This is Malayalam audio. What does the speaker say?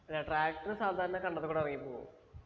അല്ല tractor സാധാരണ കണ്ടത്തി കൂടി ഇറങ്ങി പോവും